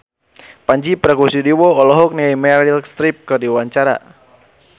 Pandji Pragiwaksono olohok ningali Meryl Streep keur diwawancara